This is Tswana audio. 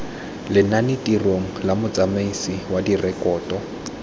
lenanetirong la motsamaisi wa direkoto